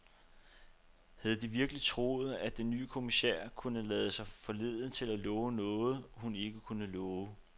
Havde de virkelig troet, at den ny kommissær kunne lade sig forlede til at love noget hun ikke kunne love?